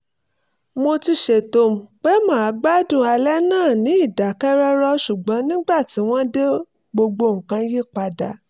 mo ti ṣètò pé màá gbádùn alẹ́ náà ní ìdákẹ́rọ́rọ́ ṣùgbọ́n nígbà tí wọ́n dé gbogbo nǹkan yí padà